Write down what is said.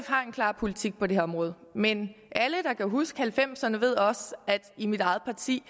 har en klar politik på det her område men alle der kan huske halvfemserne ved også at der i mit eget parti